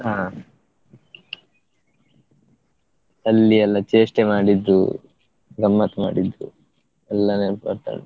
ಆ ಅಲ್ಲಿ ಎಲ್ಲಾ ಚೇಷ್ಟೆ ಮಾಡಿದ್ದು, ಗಮ್ಮತ್ತ್ ಮಾಡಿದ್ದು, ಎಲ್ಲಾ ನೆನಪಾಗ್ತಾ ಉಂಟು.